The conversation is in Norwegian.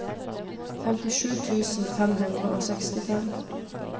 femtisju tusen fem hundre og sekstifem